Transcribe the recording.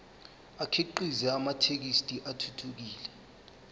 akhiqize amathekisthi athuthukile